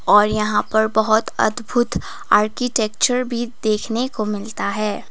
और यहां पर बहुत अद्भुत आर्किटेक्चर भी देखने को मिलता है।